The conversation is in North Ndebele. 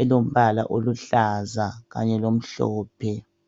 elombala oluhlaza kanye lomhlophe.